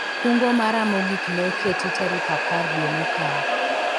kungo mara mogik ne oketi tarik apar dwe mokalo